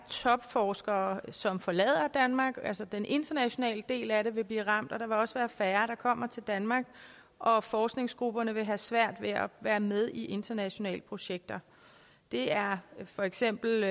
topforskere som forlader danmark altså at den internationale del af det vil blive ramt der vil også være færre der kommer til danmark og forskningsgrupper vil have svært ved at være med i internationale projekter det er for eksempel